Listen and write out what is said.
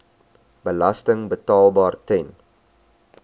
belasting betaalbaar ten